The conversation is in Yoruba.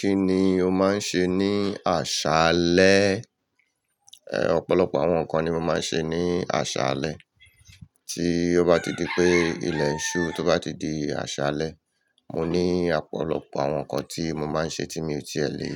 Kí ni o máa ń ṣe ní àṣálẹ́? Ọ̀pọ̀lọpọ̀ àwọn nǹkan ni mo máa ń ṣe ní àṣálẹ́. Tí ó bá ti di pé ilẹ̀ ìṣú tó bá ti di àṣálẹ́, mo ní ọ̀pọ̀lọpọ̀ àwọn nǹkan tí mo máa ń ṣe tí mi ò tí è lè